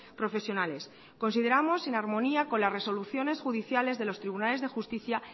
profesionales consideramos en armonía con las resoluciones judiciales de los tribunales de justicia